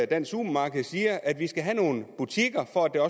dansk supermarked siger nemlig at vi skal have nogle butikker for at der